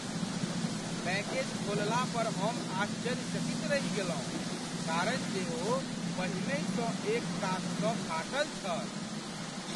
Package खोलला पर हम आश्चर्यचकित रहि गेलहुँ कारण जे ओ पहिनेसँहि एक कातसँ फाटल छल!